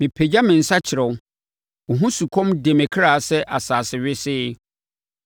Mepagya me nsa kyerɛ wo; wo ho sukɔm de me kra sɛ asase wesee.